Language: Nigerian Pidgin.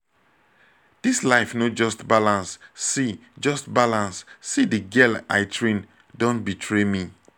dis life no just balance see just balance see the girl i train don betray me